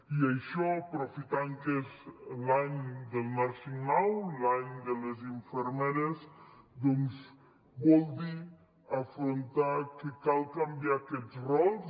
i això aprofitant que és l’any del nursing now l’any de les infermeres doncs vol dir afrontar que cal canviar aquests rols